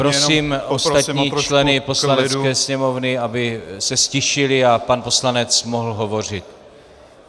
Prosím ostatní členy Poslanecké sněmovny, aby se ztišili a pan poslanec mohl hovořit.